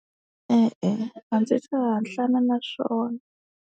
E-e, a ndzi se hatlana na swona.